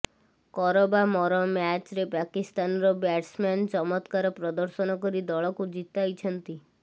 କର ବା ମର ମ୍ୟାଚ୍ରେ ପାକିସ୍ତାନର ବ୍ୟାଟ୍ସମ୍ୟାନ୍ ଚମତ୍କାର ପ୍ରଦର୍ଶନ କରି ଦଳକୁ ଜିତାଇଛନ୍ତି